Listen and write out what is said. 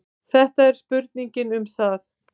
Þetta er spurning um það.